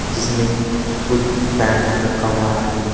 जिसमें कुछ पेंट रखा हुआ है।